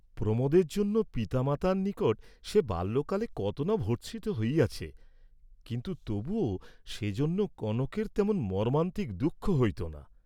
প্রমােদের জন্য পিতা মাতার নিকট সে বাল্যকালে কত না ভর্ৎসিত হইয়াছে, কিন্তু তবুও সেজন্য কনকের তেমন মর্ম্মান্তিক দুঃখ হইত না।